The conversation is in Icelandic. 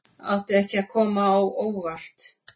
Átti ekki að koma á óvart